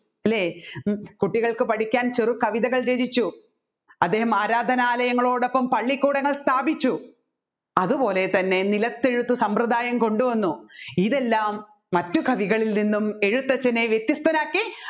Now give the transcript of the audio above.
അല്ലെ കുട്ടികൾക്ക് പഠിക്കാൻ ചെറു രചനകൾ രചിച്ചു അദ്ദേഹം ആരാധ്യനാലയങ്ങളോടോപ്പോം പള്ളികൂടങ്ങൾ സ്ഥാപിച്ചു അതുപോലെ തന്നെ നിലത്തെഴുത്ത് സമ്പ്രദായം കൊണ്ട് വന്നു ഇതെല്ലം മറ്റു കവികളിൽ നിന്ന് എഴുത്തച്ഛനെ വ്യത്യസ്തനാക്കി